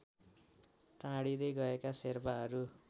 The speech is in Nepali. टाढिँदै गएका शेर्पाहरू